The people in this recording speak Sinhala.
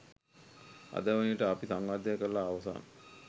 අද වන විට අපි සංවර්ධනය කරලා අවසන්.